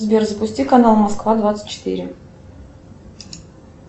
сбер запусти канал москва двадцать четыре